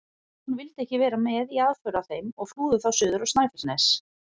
Jón vildi ekki vera með í aðför að þeim og flúði þá suður á Snæfellsnes.